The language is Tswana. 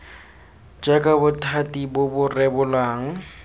jaaka bothati bo bo rebolang